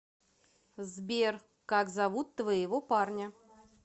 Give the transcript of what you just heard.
сбер как зовут твоего парня